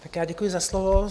Tak já děkuji za slovo.